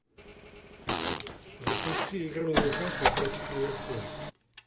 запусти игру ньюкасл против ливерпуля